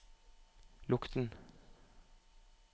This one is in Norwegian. lukk den